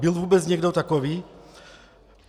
Byl vůbec někdo takový?